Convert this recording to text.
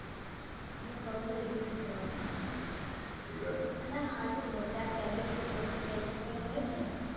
એને કૌ એકદિવસ જવાનું ના હારું હોય ત્યાં celibrity બધું festival હોય છે ને